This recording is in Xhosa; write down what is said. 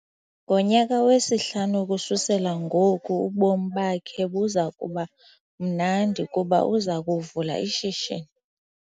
Ngonyaka wesihlanu ukususela ngoku ubomi bakhe buza kuba mnandi kuba uza kuvula ishishini.